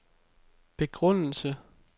begrundelse